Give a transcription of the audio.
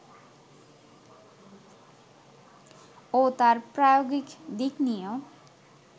ও তার প্রায়োগিক দিক নিয়েও